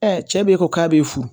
cɛ be ko k'a be furu